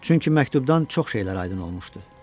Çünki məktubdan çox şeylər aydın olmuşdu.